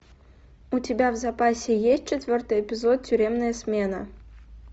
у тебя в запасе есть четвертый эпизод тюремная смена